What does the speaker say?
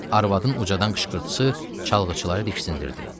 Arvadın qocadan qışqırtısı çalğıçıları diksindirdi.